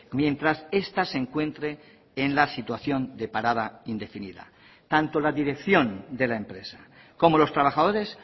mientras esta se encuentre en la situación de parada indefinida tanto la dirección de la empresa como los trabajadores